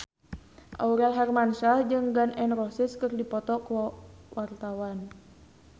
Aurel Hermansyah jeung Gun N Roses keur dipoto ku wartawan